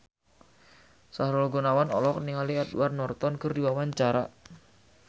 Sahrul Gunawan olohok ningali Edward Norton keur diwawancara